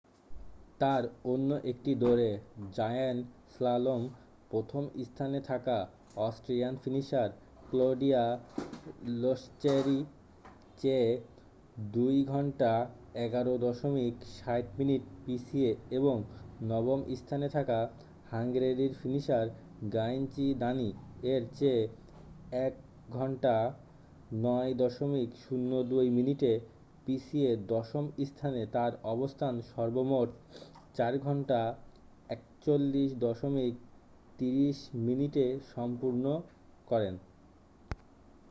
তার অন্য একটি দৌঁড়ে জায়ান্ট স্লালম প্রথম স্থানে থাকা অস্ট্রিয়ান ফিনিশার ক্লোডিয়া লোশচের চেয়ে 2:11.60 মিনিট পিছিয়ে এবং নবম স্থানে থাকা হাঙ্গেরির ফিনিশার গায়ঞ্জি দানি এর চেয়ে 1:09.02 মিনিটে পিছিয়ে দশম স্থানে তার অবস্থান সর্বমোট 4:41.30 মিনিটে সম্পন্ন করেন।